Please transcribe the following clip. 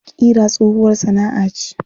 Ƙira tsohuwar sana'a ce.